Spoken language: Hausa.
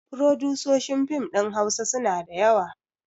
Furodusoshin fim ɗin hausa suna da yawa